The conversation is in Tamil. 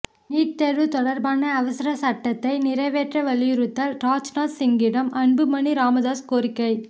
நீட் தேர்வு தொடர்பான அவசர சட்டத்தை நிறைவேற்ற வலியுறுத்தல் ராஜ்நாத் சிங்கிடம் அன்புமணி ராமதாஸ் கோரிக்கை